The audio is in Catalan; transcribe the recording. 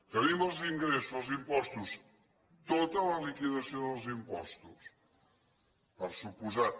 tenim els ingressos els impostos tota la liquidació dels impostos per descomptat